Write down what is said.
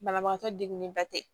Banabagatɔ degunlenba tɛ